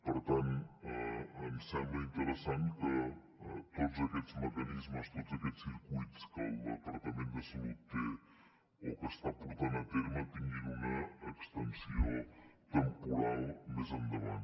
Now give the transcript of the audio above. per tant ens sembla interessant que tots aquests mecanismes tots aquests circuits que el departament de salut té o que està portant a terme tinguin una extensió temporal més endavant